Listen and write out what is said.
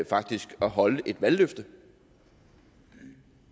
faktisk at holde et valgløfte